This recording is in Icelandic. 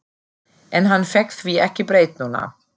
En hann fékk því ekki breytt núna.